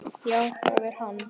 Já það er hann.